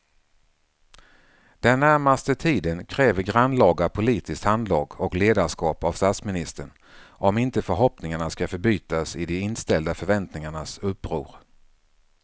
Den närmaste tiden kräver grannlaga politiskt handlag och ledarskap av statsministern om inte förhoppningarna ska förbytas i de inställda förväntningarnas uppror.